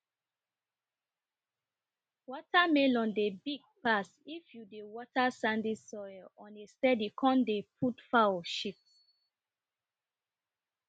watermelon dey big pass if you dey water sandy soil on a steady come dey put fowl shit